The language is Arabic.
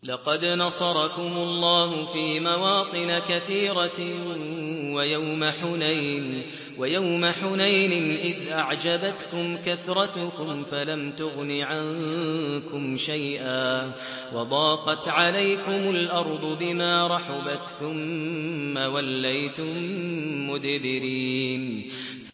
لَقَدْ نَصَرَكُمُ اللَّهُ فِي مَوَاطِنَ كَثِيرَةٍ ۙ وَيَوْمَ حُنَيْنٍ ۙ إِذْ أَعْجَبَتْكُمْ كَثْرَتُكُمْ فَلَمْ تُغْنِ عَنكُمْ شَيْئًا وَضَاقَتْ عَلَيْكُمُ الْأَرْضُ بِمَا رَحُبَتْ ثُمَّ وَلَّيْتُم مُّدْبِرِينَ